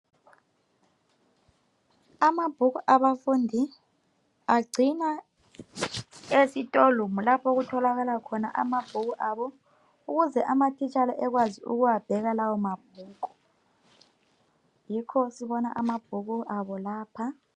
Amabhuku abafundi agcinwa esitorumu lapho okutholakala khona amabhuku abo ukuze amatitshala ekwazi ukuwabhela lawo mabhuku. Yikho sibona amabhuku abo lapha.